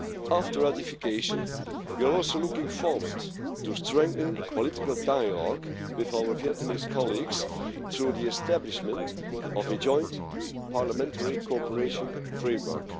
After ratification, we are also looking forward to strengthening political dialogue with our Vietnamese colleagues through the establishment of a joint parliamentary cooperation framework.